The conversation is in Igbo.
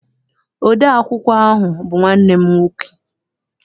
Ode akwụkwọ ahụ bụ nwanne m nwoke.